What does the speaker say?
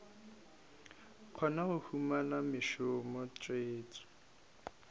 kgona go humana mešomo tswetšo